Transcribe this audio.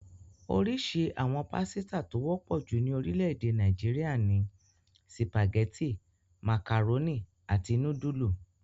Oríṣi àwọn pásítà tó wọ́pọ̀ jù ní orílẹ̀-èdè Nàìjíríà ni sìpàgẹ́tì, màkàrónì, àti núdúlù.